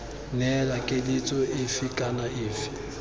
neela keletso efe kana efe